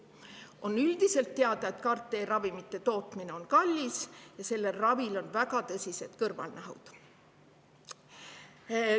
On üldiselt teada, et CAR-T-ravimite tootmine on kallis ja selle ravi tagajärjel võivad tekkida väga tõsised kõrvalnähud.